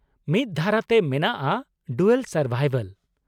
ᱢᱤᱫ ᱫᱷᱟᱨᱟᱛᱮ ᱢᱮᱱᱟᱜᱼᱟ 'ᱰᱩᱭᱟᱞ ᱥᱟᱨᱵᱟᱭᱵᱷᱟᱞ' ᱾